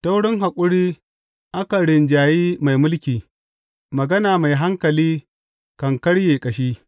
Ta wurin haƙuri akan rinjaye mai mulki, magana mai hankali kan karye ƙashi.